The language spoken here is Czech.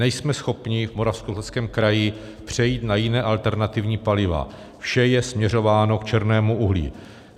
Nejsme schopni v Moravskoslezském kraji přejít na jiná alternativní paliva, vše je směřováno k černému uhlí.